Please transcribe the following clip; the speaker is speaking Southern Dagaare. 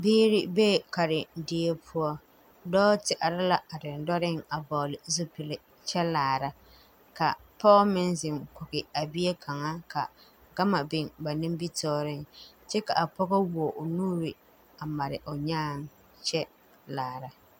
Biire bee karendie poɔ dɔɔ te are la a dendɔreŋ a vɔɔle zupile kyɛ laara ka pɔɔ meŋ zeŋ kɔge a bie kaŋa ka gama biŋ ba nimitooreŋ kyɛ ka pɔgɔ wuo o nuure a mare o nyaaŋ kyɛ laara.